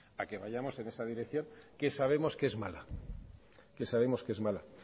a que vayamos en esa dirección que sabemos que es mala